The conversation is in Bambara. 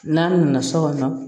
N'a nana so kɔnɔ